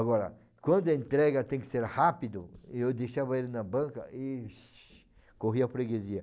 Agora, quando a entrega tem que ser rápido, eu deixava ele na banca e corria a freguesia.